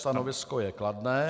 Stanovisko je kladné.)